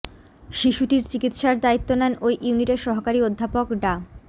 শিশুটির চিকিৎসার দায়িত্ব নেন ওই ইউনিটের সহকারী অধ্যাপক ডা